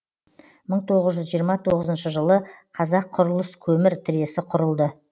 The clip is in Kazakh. мың тоғыз жүз жиырма тоғызыншы жылы қазаққұрылыскөмір тресі құрылды